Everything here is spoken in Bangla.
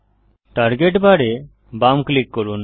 টার্গেট বার এ বাম ক্লিক করুন